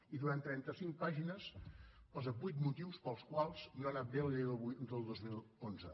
i durant trenta cinc pàgines posa vuit motius pels quals no ha anat bé la llei del dos mil onze